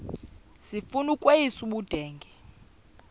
sifuna ukweyis ubudenge